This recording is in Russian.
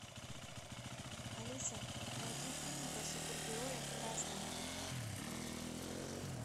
алиса найди фильм про супергероя в красном